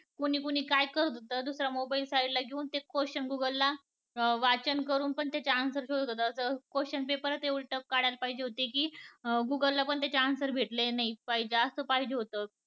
कुणी कुणी काय काय करत होत? mobile side ला ते question गूगल ला वाचन करून पण त्याचे answer शोधत होते, question paper उलट असं काढायला पाहिजे होते की गुगल ला पण त्याचे answer भेटले नाही पाहिजे म्हणजे असं पाहिजे होत